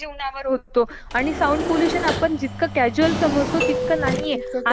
आपलयाला आस वाटत एअर पोल्युशन आणि वॉटर पोल्युशन हेच जास्त